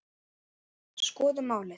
Skoðum málið.